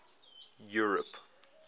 europe